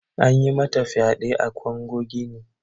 An yi mata fyade a kango gine.